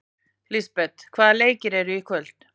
Lisbeth, hvaða leikir eru í kvöld?